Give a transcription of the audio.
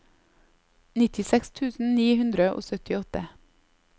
nittiseks tusen ni hundre og syttiåtte